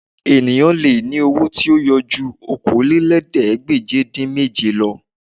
Ènìyàn lè ní owó tí yóò ju Okòólélẹ́ẹ̀ẹ́dégbèje-dín-méje lọ